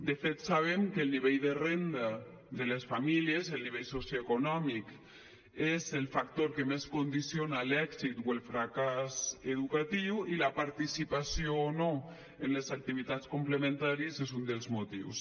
de fet sabem que el nivell de renda de les famílies el nivell socioeconòmic és el factor que més condiciona l’èxit o el fracàs educatiu i la participació o no en les activitats complementàries n’és un dels motius